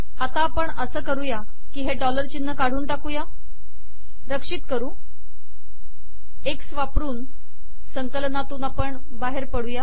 आता आपण असे करू की हे संकलनातून बाहेर पडू